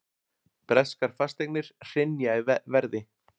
Breskar fasteignir hrynja í verði